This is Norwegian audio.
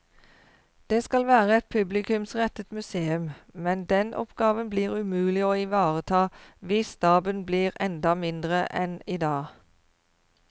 Det skal være et publikumsrettet museum, men den oppgaven blir umulig å ivareta hvis staben blir enda mindre enn i dag.